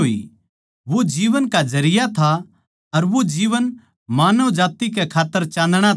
वो जीवन का जरिया था अर वो जीवन मानव जात्ति कै खात्तर चाँदणा था